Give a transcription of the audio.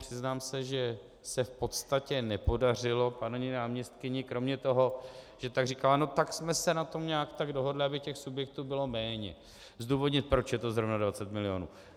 Přiznám se, že se v podstatě nepodařilo paní náměstkyni kromě toho, že pak říkala "no tak jsme se na tom nějak tak dohodli, aby těch subjektů bylo méně", zdůvodnit, proč je to zrovna 20 milionů.